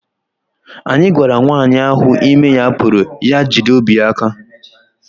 Anyị gwara nwanyị ahụ ime ya puru ya jide obi ya aka